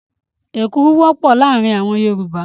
Èkuru wọ́pọ̀ láàárin àwọn Yorùbá.